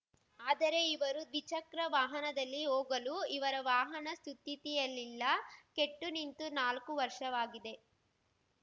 ಆದರೆ ಇವರು ದ್ವಿಚಕ್ರ ವಾಹನದಲ್ಲಿ ಹೋಗಲು ಇವರ ವಾಹನ ಸುಸ್ಥಿತಿಯಲ್ಲಿಲ್ಲ ಕೆಟ್ಟು ನಿಂತು ನಾಲ್ಕು ವರ್ಷವಾಗಿದೆ